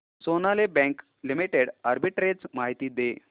Sonali bank limited arbitrage माहिती दे